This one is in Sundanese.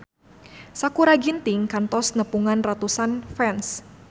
Sakutra Ginting kantos nepungan ratusan fans